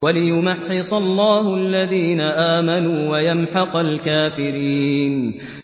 وَلِيُمَحِّصَ اللَّهُ الَّذِينَ آمَنُوا وَيَمْحَقَ الْكَافِرِينَ